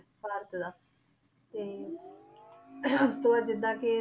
ਭਾਰਤ ਦਾ ਤੇ ਤੋ ਇਹ ਜਿੱਦਾਂ ਕਿ